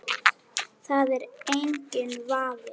Það er enginn vafi.